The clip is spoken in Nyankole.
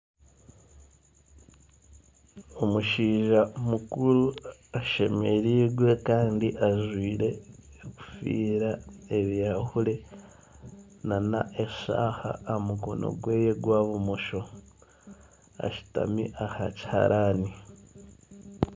Akatare kari omu mwanya ogutagaire, kandi abantu abaine emidaara omu katare aka, haihi buri omwe aine manvuri eye, erikushangire aha mudaara gwe, aha rubaju rw'akatare hariho ebizimbe ebihango kandi biringwa abantu nibaza omu katare kandi bagura n'abandi baguza